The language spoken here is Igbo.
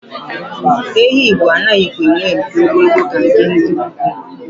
Ehi Igbo anaghịkwa enwe mpi ogologo ka nke ndị ugwu.